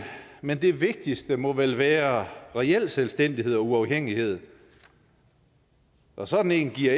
men det vigtigste må vel være reel selvstændighed og uafhængighed og sådan en giver